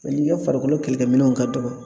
n'i ka farikolo kɛlɛkɛminɛnw ka dɔgɔ